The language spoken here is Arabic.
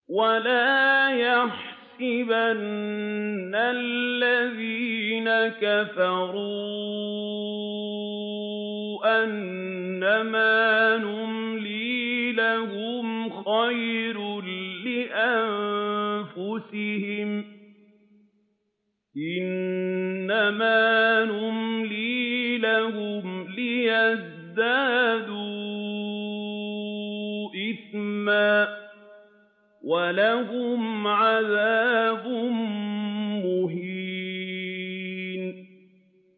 وَلَا يَحْسَبَنَّ الَّذِينَ كَفَرُوا أَنَّمَا نُمْلِي لَهُمْ خَيْرٌ لِّأَنفُسِهِمْ ۚ إِنَّمَا نُمْلِي لَهُمْ لِيَزْدَادُوا إِثْمًا ۚ وَلَهُمْ عَذَابٌ مُّهِينٌ